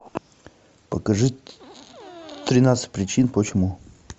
покажи тринадцать причин почему